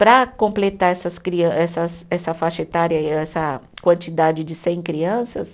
Para completar essas crian, essas essa faixa etária e essa quantidade de cem crianças,